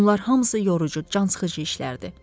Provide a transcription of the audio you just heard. Bunlar hamısı yorucu, cansıxıcı işlərdir.